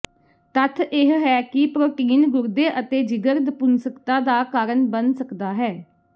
ਤੱਥ ਇਹ ਹੈ ਕਿ ਪ੍ਰੋਟੀਨ ਗੁਰਦੇ ਅਤੇ ਜਿਗਰ ਨਪੁੰਸਕਤਾ ਦਾ ਕਾਰਨ ਬਣ ਸਕਦਾ ਹੈ